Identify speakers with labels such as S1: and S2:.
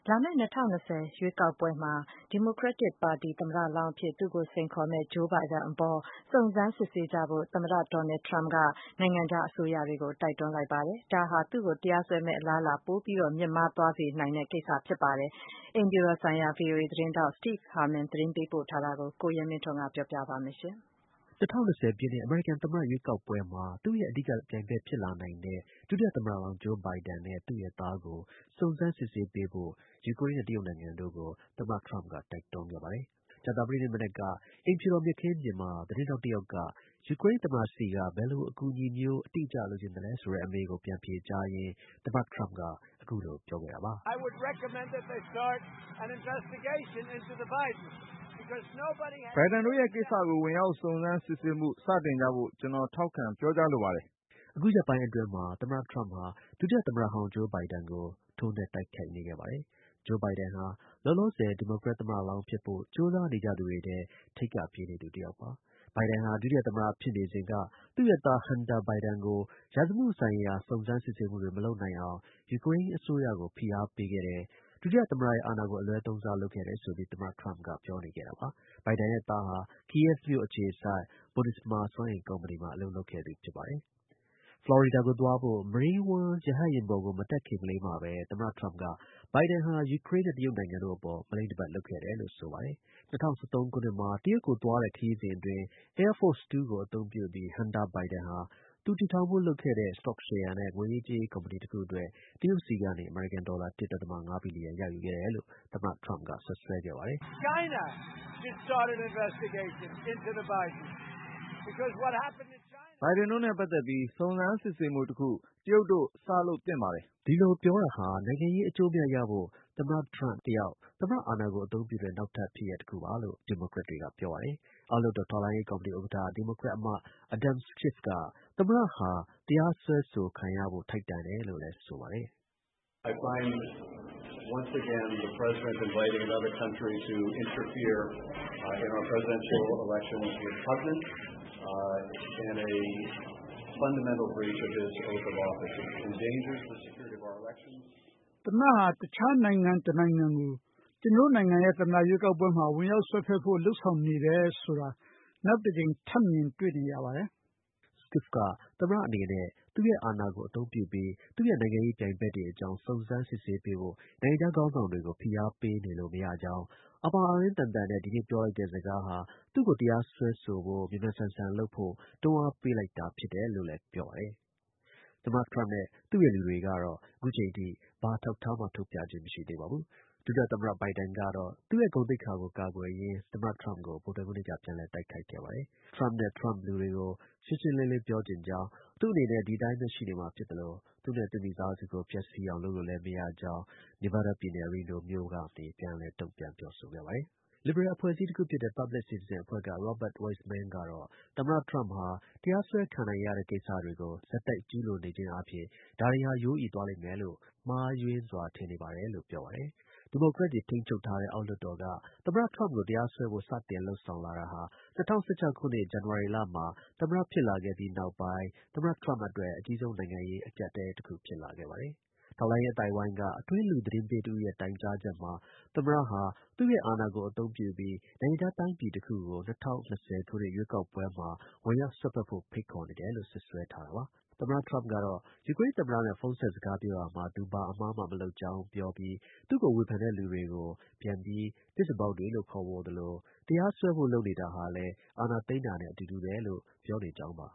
S1: လာမယ့် ၂၀၂၀ ရွေးကောက်ပွဲမှာ ဒီမိုကရက်ပါတီသမ္မတလောင်းအဖြစ် သူ့ကိုစိမ်ခေါ်လာမယ့် Joe Biden အပေါ်စုံစမ်းစစ်ဆေး ကြဖို့ သမ္မတ Donald Trump က နိုင်ငံခြား အစိုးရတွေကို တိုက်တွန်းလိုက်ပါတယ်။ ဒါဟာ သူ့ကို တရားစွဲဆိုမယ့် အလားအလာ ပိုမိုမြင့်မား သွားနိုင်တဲ့ ကိစ္စဖြစ်နေပါတယ်။ အိမ်ဖြူတော်ဆိုင်ရာ VOA သတင်းထောက် Steve Harman ပေးပို့ထားတာကို ကိုရဲမင်းထွန်းက ပြောပြမှာပါ။ ၂၀၂၀ သမ္မတ ရွေးကောက်ပွဲမှာ သူ့ရဲ့ အဓိက ပြိုင်ဘက် ဖြစ်လာနိုင်တဲ့ ဒုတိယ သမ္မတဟောင်း Joe Biden နဲ့ သူ့ရဲ့ သားကို စုံစမ်း စစ်ဆေး ပေးဖို့ ယူကရိန်းနဲ့ တရုတ်နိုင်ငံကို သမ္မတ ဒေါ်နယ်ထရမ့်က တိုက်တွန်းခဲ့တာပါ။ ကြာသပတေးနေ့ မနက် အိမ်ဖြူတော်က မြက်ခင်းပြင်မှာ သတင်းထောက် တစ်ယောက်က ယူကရိန်းသမ္မတဆီက ဘယ်လို အကူအညီမျိုး အတိအကျ လိုချင်သလဲဆိုတဲ့ အမေးကို ပြန်ဖြေကြားရင်း သမ္မတ ထရမ့်က အခုလို ပြောခဲ့တာပါ။ “Biden တို့ ရဲ့ကိစ္စကို ဝင်ရောက် စုံစမ်းစစ်ဆေးမှု စတင်ကြဖို့ ကျနော် ထောက်ခံပြောကြား လိုပါတယ်။” အခုရက်ပိုင်းတွေအတွင်းမှာ သမ္မတ ထရမ့်ဟာ ဒုတိယ သမ္မတဟောင်း Joe Biden ကို ထိုးနှက် တိုက်ခိုက် နေခဲ့ပါတယ်။ Joe Biden ဟာ လောလောဆယ် ဒီမိုကရက် သမ္မတလောင်းဖြစ်ဖို့ ကြိုးစား နေကြသူတွေထဲ ထိပ်က ပြေးနေသူတစ်ယောက်ပါ။ Biden ဟာ ဒုတိယ သမ္မတဖြစ် နေစဉ်က သူ့ရဲ့သား Hunter Biden ကို ရာဇဝတ်မှုဆိုင်ရာ စုံစမ်းစစ်ဆေးမှုတွေ မလုပ်နိုင်အောင် ယူကရိန်းအစိုးရကို ဖိအားပေး ခဲ့တယ်၊ ဒုတိယ သမ္မတရဲ့ အာဏာကို အလွဲသုံးစား လုပ်ခဲ့တယ်ဆိုပြီး သမ္မတ ထရမ့်က ပြောနေခဲ့တာပါ။ Biden ရဲ့သားဟာ Kyiv မြို့ အခြေစိုက် Burisma စွမ်းအင်ကုမ္ပဏီမှာ အလုပ်လုပ်ခဲ့သူ ဖြစ်ပါတယ်။ ဖလော်ရီဒါကို သွားဖို့ Marine One ရဟတ်ယာဉ်ပေါ်ကိုမတက်ခင်ကလေးမှာပဲ သမ္မတ ထရမ့်က Biden ဟာ ယူကရိန်းနဲ့တရုတ်နိုင်ငံတို့အပေါ် မလိမ့်တပတ် လုပ်ခဲ့တယ်လို့ ဆိုပါတယ်။ ၂၀၁၃ ခုနှစ်မှာ တရုတ်ကို သွားတဲ့ ခရီးစဉ်အတွင်း Air Force Two ကို အသုံးပြုပြီး Hunter Biden ဟာ သူ့ တည်ထောင်ဖို့ လုပ်နေတဲ့ စတော့ရှယ်ယာနဲ့ ငွေရေးကြေးရေး ကုမ္ပဏီတစ်ခုအတွက် တရုတ်ဆီကနေ အမေရိကန် ဒေါ်လာ ၁.၅ ဘီလီယံ ရယူခဲ့တယ်လို့ သမ္မတ ထရမ့်ဟာ စွပ်စွဲခဲ့ပါတယ်။ “Biden တို့နဲ့ ပတ်သက်ပြီး စုံစမ်းစစ်ဆေးမှုတခု တရုတ်တို့ စလုပ်သင့်ပါတယ်။” ဒီလို ပြောတာဟာ နိုင်ငံရေး အကျိုးအမြတ်ရဖို့ သမ္မတ ထရမ့် တယောက် သမ္မတ အာဏာကို အသုံးပြုတဲ့ နောက်ထပ်ဖြစ်ရပ်တစ်ခုပါလို့ ဒီမိုကရက် တွေက ပြောပါတယ်။ အောက်လွှတ်တော် ထောက်လှမ်းရေး ကော်မတီဥက္ကဌ ဒီမိုကရက်အမတ် Adam Schiff က သမ္မတဟာ တရားစွဲဆိုခံရဖို့ ထိုက်တန်တယ်လို့လည်း ဆိုပါတယ်။ “သမ္မတဟာ တခြားနိုင်ငံ တစ်နိုင်ငံကို ကျွန်တော်တို့ရဲ့ သမ္မတရွေးကောက်ပွဲမှာ ဝင်ရောက်စွက်ဖက်ဖို့ လုပ်ဆောင်နေတယ်ဆိုတာကို နောက်တစ်ကြိမ် ထပ်မြင်တွေ့နေရပါတယ်။” Schiff က သမ္မတအနေနဲ့ သူ့ရဲ့ အာဏာကို အသုံးပြုပြီး သူ့ရဲ့ နိုင်ငံရေး ပြိုင်ဖက်တွေအကြောင်း စုံစမ်း စစ်ဆေးပေးဖို့ နိုင်ငံခြား ခေါင်းဆောင် တွေကို ဖိအားပေးလို့ မရကြောင်း၊ အာပေါင်အာရင်း သန်သန်နဲ့ ဒီနေ့ ပြောလိုက်တဲ့စကားဟာ သူ့ကို တရားစွဲဖို့ မြန်မြန်ဆန်ဆန် လုပ်ဖို့ တွန်းအားပေးလိုက်တာဖြစ်တယ်လို့လည်း ပြောပါတယ်။ သမ္မတထရမ့်နဲ့ သူ့ရဲ့ လူတွေကတော့ ခု ချိန်ထိ ဘာ အထောက်အထားမှ ထုတ်ပြခြင်း မရှိသေးပါဘူး။ ဒုတိယ သမ္မတ Biden ကတော့ သူ့ရဲ့ ဂုဏ်သိက္ခာကို ကာကွယ်ရင်း သမ္မတ ထရမ့်ကို ဗုဒ္ဓဟူးနေ့က ပြန်လည် ထိုးနှက် တိုက်ခိုက်ခဲ့ပါတယ်။ Trumpနဲ့ Trump လူတွေနဲ့ ရှင်းရှင်းလင်းလင်း ပြောချင်ကြောင်း၊ သူ့အနေနဲ့ ဒီအတိုင်းပဲရှိနေမှာဖြစ်သလို သူ့နဲ့ သူ့မိသားစုကို ပျက်စီးအောင် လုပ်လို့မရကြောင်း တုံ့ပြန် ပြောဆိုခဲ့ပါတယ်။ လစ်ဘရယ်အဖွဲ့အစည်းတစ်ခုဖြစ်တဲ့ Public Citizen အဖွဲ့က Robert Wiessman ကတော့ သမ္မတ ထရမ့်ဟာ တရားစွဲခံရနိုင်တဲ့ကိစ္စတွေကို ဆက်တိုက် ကျူးလွန်နေခြင်း အားဖြင့် ဒါတွေဟာ ရိုးအီသွားလိမ့်လို့ မှားယွင်းစွာ ထင်နေပါတယ်လို့ ပြောပါတယ်။ ဒီမိုကရက်တွေ ထိန်းချုပ်ထားတဲ့ အောက်လွှတ်တော်က သူ့ကို တရားစွဲဖို့ စတင်လုပ်ဆောင်တာဟာ ၂၀၁၆ ခုနှစ် ဇန်နဝါရီလမှာ သမ္မတ ဖြစ်လာခဲ့ပြီးနောက်ပိုင်း သမ္မတ ထရမ့်အတွက် အကြီးဆုံး နိုင်ငံရေး အကြပ်အတည်းတစ်ခု ဖြစ်လာပါတယ်။ ထောက်လှမ်းရေး အသိုက်အဝိုင်း က အတွင်းလူ သတင်းပေးတစ်ဦးရဲ့ တိုင်ကြားချက်မှာ သမ္မတဟာ သူ့ရဲ့ အာဏာကို အသုံးပြုပြီး နိုင်ငံခြား တိုင်းပြည်တစ်ခုကို ၂၀၂ ခုနှစ် ရွေးကောက်ပွဲမှာ ဝင်ရောက်စွက်ဖက်ဖို့ ဖိတ်ခေါ်နေတယ်လို့ စွပ်စွဲထားတာပါ။ သမ္မတ ထရမ့်ကတော့ ယူကရိန်း သမ္မတနဲ့ ဖုန်းဆက်စကား ပြောရာမှာ သူဘာ အမှားမှ မလုပ်ကြောင်း ပြောပြီး သူ့ကို ဝေဖန်တဲ့လူတွေကို ပြန်ပြီး သစ္စာဖောက်တွေလို့ ခေါ်ဝေါ်သလို တရားစွဲဖို့ လုပ်နေတာဟာလည်း အာဏာသိမ်းတာနဲ့ အတူတူ ပဲလို့ ပြောနေကြောင်းပါ